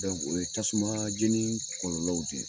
o ye tasuma jeni kɔlɔlɔw de ye.